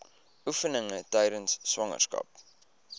oefeninge tydens swangerskap